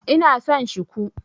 Ina son Shiku.